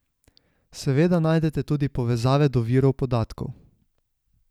Seveda najdete tudi povezave do virov podatkov.